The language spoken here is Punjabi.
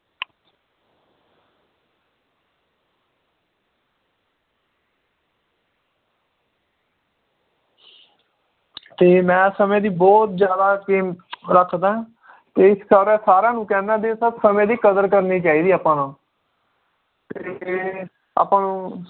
ਤੇ ਮੈ ਸਮੇ ਦੀ ਬਹੁਤ ਜ਼ਿਆਦਾ ਕੀਮਤ ਰੱਖਦਾ ਏ ਤੇ ਇਸ ਕਾਰਨ ਸਾਰੇ ਨੂੰ ਕਹਿੰਨਾ ਵੀ ਸਬ ਸਮੇ ਦੀ ਕਦਰ ਕਰਨੀ ਚਾਹੀਦੀ ਏ ਆਪਾਂ ਨੂੰ ਆਪਾਂ ਨੂੰ